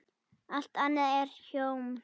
Allt annað er hjóm eitt.